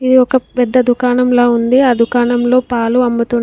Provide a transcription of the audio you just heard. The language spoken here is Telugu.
ఇది ఒక పెద్ద దుకాణంలా ఉంది. ఆ దుకాణంలో పాలు అమ్ముతున్న--